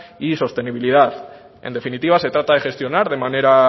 y sostenibilidad en definitiva se trata de gestionar de manera